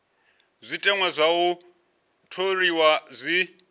zwiteṅwa zwa u tholiwa zwi